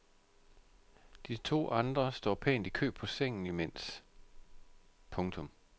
De to andre står pænt i kø på sengen imens. punktum